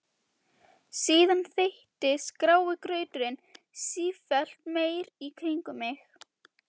Síðan þéttist grái grauturinn sífellt meir í kringum mig.